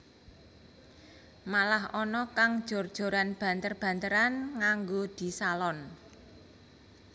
Malah ana kang jor joran banter banteran nganggo disalon